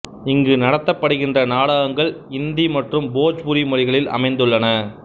இங்கு நடத்தப்படுகின்ற நாடகங்கள் இந்தி மற்றும் போஜ்பூரி மொழிகளில் அமைந்துள்ளன